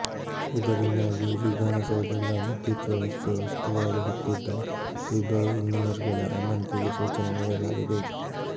ಇದರಿಂದಾಗಿ ವಿಧಾನಸೌಧದ ವಿದ್ಯುತ್ ವ್ಯವಸ್ಥೆ ಉಸ್ತುವಾರಿ ಹೊತ್ತಿದ್ದ ಇಬ್ಬರು ಇಂಜಿನಿಯರ್ಗಳ ಅಮಾನತಿಗೆ ಸೂಚನೆ ನೀಡಲಾಗಿದೆ